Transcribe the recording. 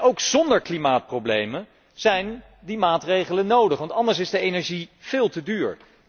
Ook zonder klimaatproblemen zijn die maatregelen nodig, want anders is de energie veel te duur.